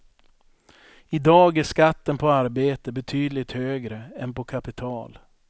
I dag är skatten på arbete betydligt högre än på kapital.